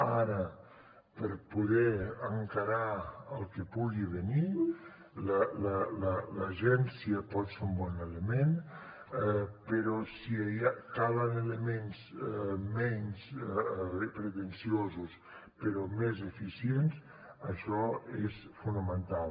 ara per poder encarar el que pugui venir l’agència pot ser un bon element però si calen elements menys pretensiosos però més eficients això és fonamental